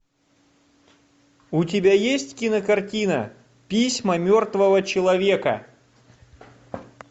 у тебя есть кинокартина письма мертвого человека